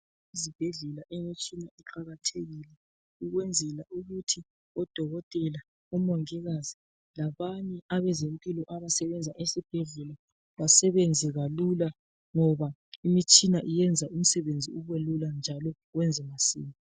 Ezibhedlela imitshina iqakathekile ukwenzela ukuthi odokotela, omongikazi labanye abezempilo abasebenza esibhedlela basebenze kalula ngoba imitshina iyenza umisebenzi ube lula njalo wenze masinya.